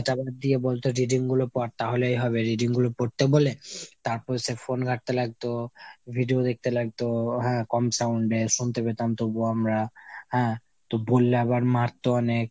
কিন্তু সেটা বাদ দিয়ে বলতো reading গুলো পর তাহলেই হবে। reading গুলো পড়তে বলে তারপর সে phone ঘাটতে লাগতো, video দেখতে লাগতো হ্যাঁ কম sound এ, শুনতে পেতাম তবুও আমরা হ্যাঁ, তো বললে আবার মারতো অনেক।